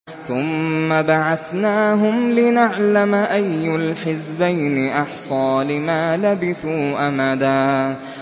ثُمَّ بَعَثْنَاهُمْ لِنَعْلَمَ أَيُّ الْحِزْبَيْنِ أَحْصَىٰ لِمَا لَبِثُوا أَمَدًا